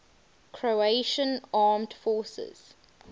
croatian armed forces